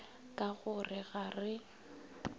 ka go re ga re